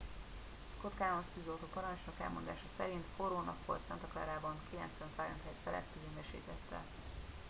"scott kouns tűzoltóparancsnok elmondása szerint "forró nap volt santa clarában 90°f feletti hőmérsékletekkel.